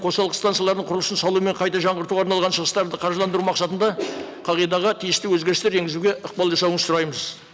қосалқы станцияларын құру үшін салу мен қайта жаңғыртуға арналған шығыстарды қаржыландыру мақсатында қағидаға тиісті өзгерістер енгізуге ықпал жасауыңызды сұраймыз